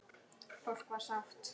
Fólk var sátt.